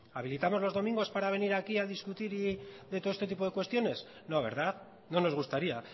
habilitamos los domingos para venir aquí a discutir de todo este tipo de cuestiones no verdad no nos gustaría